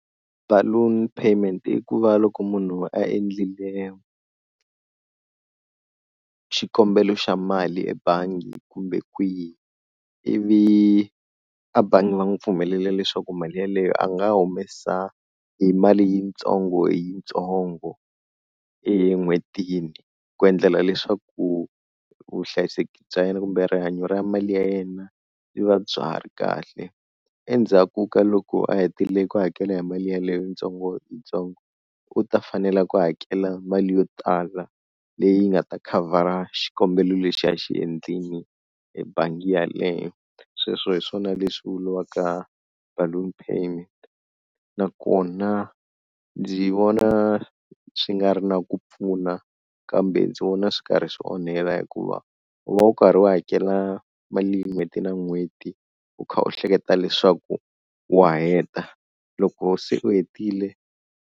Balloon payment i ku va loko munhu a endlile xikombelo xa mali ebangi kumbe kwihi ivi a bangi va n'wi pfumelela leswaku mali yeleyo a nga humesa hi mali yitsongo hi yitsongo en'hwetini, ku endlela leswaku vuhlayiseki bya yena kumbe rihanyo ra mali ya yena byi va bya ha ri kahle, endzhaku ka loko a hetile ku hakela hi mali yeleyo tsongo yitsongo u ta fanela ku hakela mali yo tala leyi nga ta khavhara xikombelo lexi a xi endlile ebangi yaleyo, sweswo hi swona leswi vuriwaka balloon payment nakona ndzi vona swi nga ri na ku pfuna kambe ndzi vona swi karhi swi onhela hikuva u va u karhi u hakela mali n'hweti na n'hweti u kha u hleketa leswaku wa heta loko se u hetile.